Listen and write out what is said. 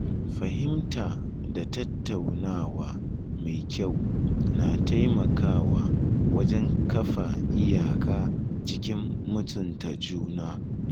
Fahimta da tattaunawa mai kyau na taimakawa wajen kafa iyaka cikin mutunta juna.